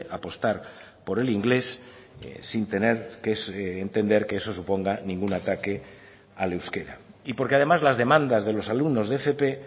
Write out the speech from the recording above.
apostar por el inglés sin tener que entender que eso suponga ningún ataque al euskera y porque además las demandas de los alumnos de fp